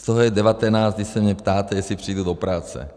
Z toho je 19, kdy se mě ptáte, jestli přijdu do práce.